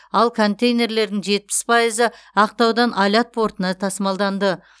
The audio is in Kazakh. ал контейнерлердің жетпіс пайызы ақтаудан алят портына тасымалданды